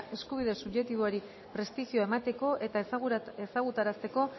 eskubide subjektiboari prestigioa emateko eta ezagutarazteko